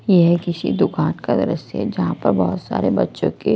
यह किसी दुकान का दृश्य है जहां पर बहुत सारे बच्चों के--